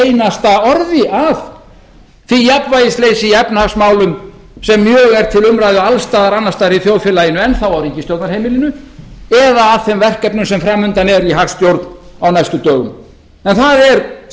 einasta orði að því jafnvægisleysi í efnahagsmálum sem mjög er til umræðu alls staðar annars staðar í þjóðfélaginu og enn þá á ríkisstjórnarheimilinu eða þeim verkefnum sem fram undan eru í hagstjórn á næstu dögum en það er